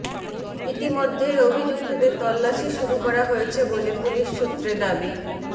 ইতিমধ্যেই অভিযুক্তদের তল্লাশি শুরু করা হয়েছে বলে পুলিশ সূত্রে দাবি